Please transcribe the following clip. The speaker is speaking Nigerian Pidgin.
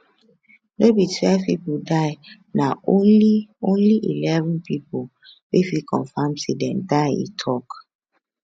no be twelve pipo die na only only eleven pipo we fit confam say dem die e tok